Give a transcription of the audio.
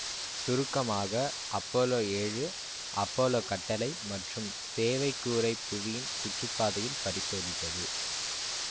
சுருக்கமாக அப்பல்லோ ஏழு அப்பல்லோ கட்டளை மற்றும் சேவைக் கூறைப் புவியின் சுற்றுப்பாதையில் பரிசோதித்தது